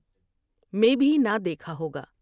میں بھی نہ دیکھا ہوگا ۔